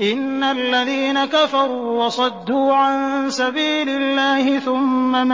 إِنَّ الَّذِينَ كَفَرُوا وَصَدُّوا عَن سَبِيلِ اللَّهِ ثُمَّ